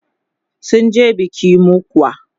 sunje biki mokwa